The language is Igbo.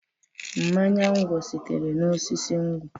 Mmanya nkwọ sitere n'osisi nkwọ.